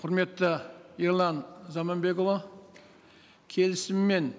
құрметті ерлан заманбекұлы келісіммен